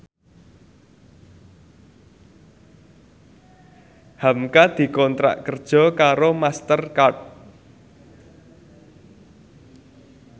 hamka dikontrak kerja karo Master Card